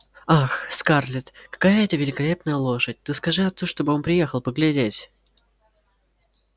ах скарлетт какая это великолепная лошадь ты скажи отцу чтобы он приехал поглядеть